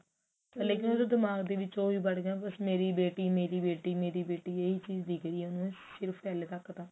ਲੇਕਿਨ ਦਿਮਾਗ ਦੇ ਵਿੱਚ ਓਹੀ ਵੜ ਗਿਆ ਮੇਰੀ ਬੇਟੀ ਮੇਰੀ ਬੇਟੀ ਇਹੀ ਚੀਜ਼ ਦਿਖ ਰਹੀ ਹੈ ਉਹਨੂੰ ਸਿਰਫ਼ ਹਲੇ ਤੱਕ ਤਾਂ